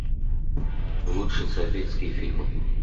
лучшие советские фильмы